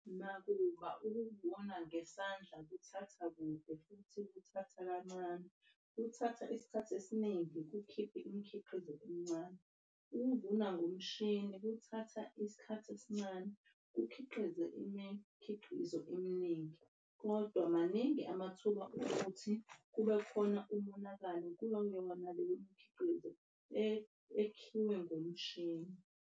Nakuba ukuvuna ngesandla kuthatha kude futhi kuthatha kancane. Kuthatha isikhathi esiningi kukhiphe imikhiqizo emincane. Ukuvuna ngomshini, kuthatha isikhathi esincane kukhiqize imikhiqizo eminingi kodwa maningi amathuba okuthi kube khona umonakalo kuyo yona le mikhiqizo ekhiwe ngomshini.